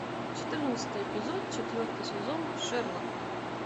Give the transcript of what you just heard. четырнадцатый эпизод четвертый сезон шерлок